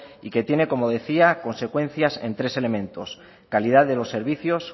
y que tiene como decía consecuencias en tres elementos calidad de los servicios